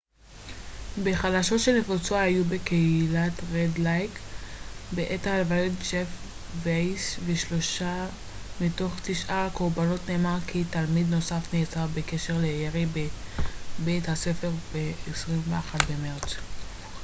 בחדשות שנפוצו היום בקהילת רד לייק בעת הלוויות ג'ף וייס ושלושה מתוך תשעת הקורבנות נאמר כי תלמיד נוסף נעצר בקשר לירי בבית הספר ב-21 במרץ